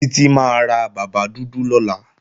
Títí máa ra bàbá dúdú lọ́la